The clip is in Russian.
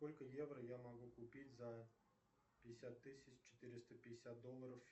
сколько евро я могу купить за пятьдесят тысяч четыреста пятьдесят долларов